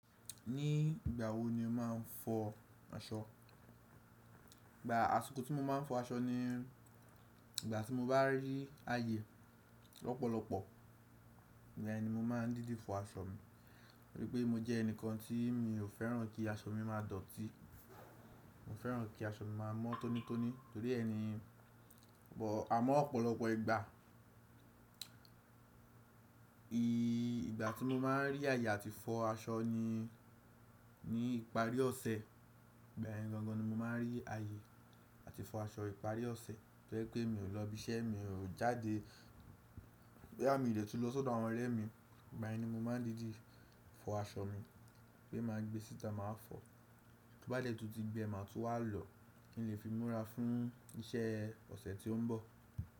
Ní ìgbà wo ni o máa ń fọ aṣọ? Ìgbà àsìkò tí mo máa ń fọ aṣọ ni ìgbà tí mo bá rí ààyè lọ́pọ̀lọpọ̀, igba yen mo máa ń dídi fọ aṣọ mi, ó yẹ pé mo jẹ́ ẹnìkan tí mi ò fẹ́ràn kí aṣọ mi máa dọ̀tí. Mo fẹ́ràn kí aṣọ mi máa mọ́ tónítóní torí ẹ ni, àmọ́ ọ̀pọ̀lọpọ̀ ìgbà ìgbà tí mo máa ń rí ààyè àti fọ aṣọ ni ní ìparí ọ̀sẹ̀. Ìgbà yẹn gangan ni mo máa ń rí ààyè àti fọ aṣọ ìparí ọ̀sẹ̀, tó yẹ́ pé mi ò lọ ibi iṣẹ́, mi ò jáde. Boyà mí lè tún lọ sọ́dọ̀ àwọn ọ̀rẹ́ mi, igba yen ni mo máa ń dídi fọ aṣọ mi, pé ma gbé síta máa fọ. Tó bá dẹ́ tún ti gbẹ máa tún wá lọ kí n lè fi múra fún iṣẹ́ ọ̀sẹ̀ tí ó ń bọ̀.